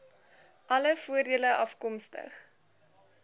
alle voordele afkomstig